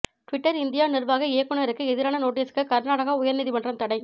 Twitter India நிர்வாக இயக்குனருக்கு எதிரான நோட்டீஸுக்கு கர்நாடக உயர்நீதிமன்றம் தடை